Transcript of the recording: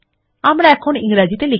আমরা এখন ইংরেজিতে লিখতে পারি